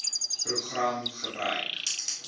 program gebruik